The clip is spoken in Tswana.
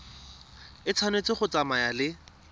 e tshwanetse go tsamaya le